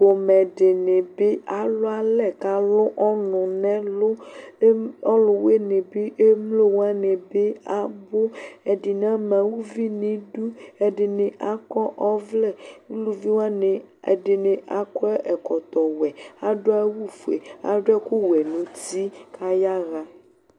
Pomɛ di ni bi alʋ alɛ k'alʋ ɔnʋ n'ɛlʋ Eem, ɔlʋwini bi, emlo wani bi abʋ Ɛdini ama uvi n'idu, ɛdini akɔ ɔvlɛ Aluvi wani, ɛdini akɔ ɛkɔtɔ wɛ, adʋ awʋ fue, adʋ ɛkʋ wɛ nʋ uti kʋ ayaɣa